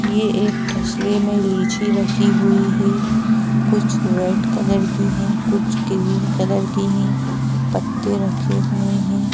ये एक तस्ल में लीची रखी हुई है कुछ रेड कलर की है कुछ क्रीम कलर की है पत्ते रखे हुए हैं।